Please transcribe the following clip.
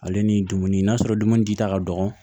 Ale ni dumuni n'a sɔrɔ dumuni di ta ka dɔgɔ